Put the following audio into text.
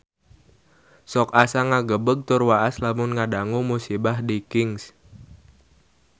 Sok asa ngagebeg tur waas lamun ngadangu musibah di Kings